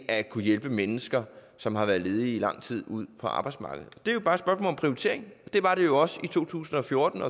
at kunne hjælpe mennesker som har været ledige i lang tid ud på arbejdsmarkedet det er jo bare et spørgsmål om prioritering det var det jo også i to tusind og fjorten